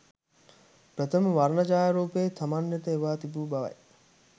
ප්‍රථම වර්ණ ඡායාරූපය තමන් වෙත එවා තිබු බවයි